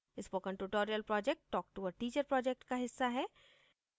spoken tutorial project talktoa teacher project का हिस्सा है